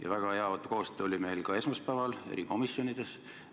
Ja väga hea koostöö oli meil ka esmaspäeval erikomisjonides.